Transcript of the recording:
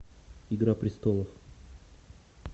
игра престолов